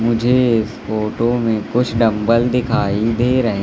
मुझे इस फोटो में कुछ डंबल दिखाई दे रहे--